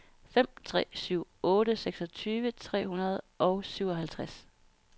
fem tre syv otte seksogtyve tre hundrede og syvoghalvtreds